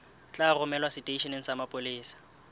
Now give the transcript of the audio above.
tla romelwa seteisheneng sa mapolesa